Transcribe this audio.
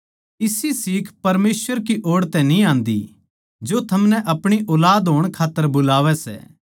इसी सीख परमेसवर की ओड़ तै न्ही आन्दी जो थमनै आपणी ऊलाद होण खात्तर बुलावै सै